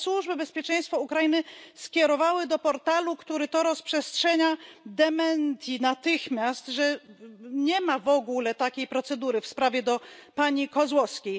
Ale służby bezpieczeństwa Ukrainy skierowały natychmiast do portalu, który to rozprzestrzenia, dementi, że nie ma w ogóle takiej procedury w sprawie pani Kozłowskiej.